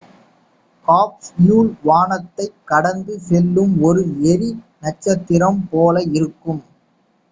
capsule வானத்தைக் கடந்து செல்லும் ஒரு எரி நட்சத்திரம் போல இருக்கும்